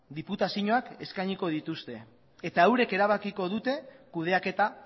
diputazioek eskainiko dituzte eta eurek erabakiko dute kudeaketa